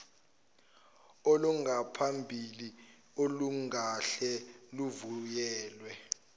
olungaphambili olungahle luvunyelwe